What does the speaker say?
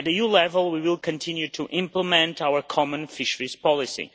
At EU level we will continue to implement our Common Fisheries Policy.